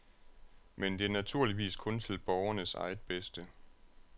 Men det er naturligvis kun til borgernes eget bedste.